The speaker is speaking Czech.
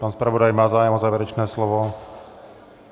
Pan zpravodaj má zájem o závěrečné slovo?